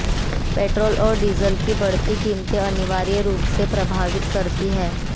petrol और diesel की बढ़ती कीमतें अनिवार्य रूप से प्रभावित करती हैं